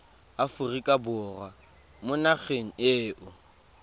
aforika borwa mo nageng eo